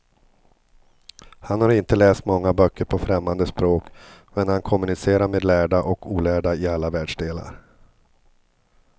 Han har inte läst många böcker på främmande språk, men han kommunicerar med lärda och olärda i alla världsdelar.